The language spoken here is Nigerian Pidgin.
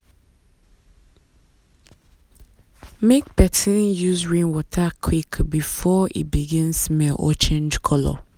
make person use rainwater quick before e begin smell or change colour.